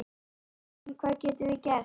Já, en hvað getum við gert?